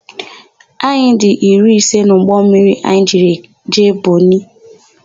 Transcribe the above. Anyị dị iri ise n'ụgbọmmiri anyị jiri jee Bọnị.